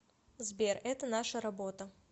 сбер это наша работа